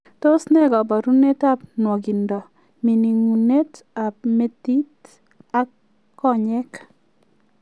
Tos ne kabarunoik ap nwogindoo ,mininguneet ap metiit ak konyeek